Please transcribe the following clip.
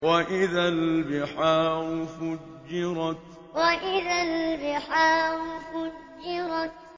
وَإِذَا الْبِحَارُ فُجِّرَتْ وَإِذَا الْبِحَارُ فُجِّرَتْ